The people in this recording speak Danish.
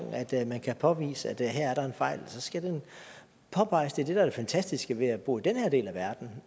man kan påvise at der er en fejl skal den påpeges det er det der er det fantastiske ved at bo i den her del af verden